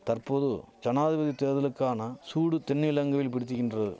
தற்போது ஜனாதிபதி தேர்தலுக்கான சூடு தென்னிலங்கைவில் பிடித்திகின்ற